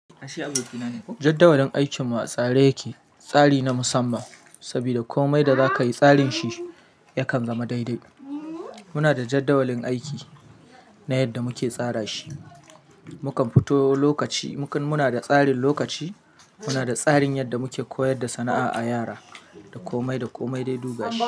Jaddawalin aikin mu a tsare yake, tsari na musamman sabida komai da zaka yi tsarin shi ya kan zama daidai. Muna da jaddawalin aiki na yadda muke tsara shi. Mukan fito lokaci, muna da tsarin lokaci, muna da tsarin yadda muke koyar da sana'a a yara da komai da komai dai duk gashi.